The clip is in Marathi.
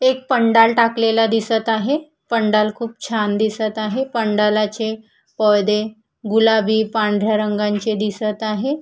एक पंडाल टाकलेला दिसत आहे पंडाल खूप छान दिसत आहे पंडालाचे पडदे गुलाबी पांढऱ्या रंगांचे दिसत आहे.